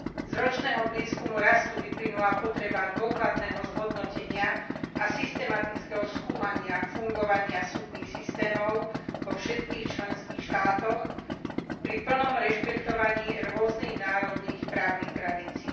Z ročného prieskumu rastu vyplynula potreba dôkladného zhodnotenia a systematického skúmania fungovania súdnych systémov vo všetkých členských štátoch pri plnom rešpektovaní rôznych národných právnych tradícií.